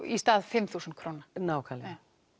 í stað fimm þúsund króna nákvæmlega